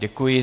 Děkuji.